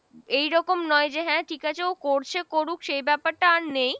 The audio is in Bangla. এই রকম নয় যে হ্যাঁ ঠিক আছে ও করছে করুক সেই ব্যপারটা আর নেই,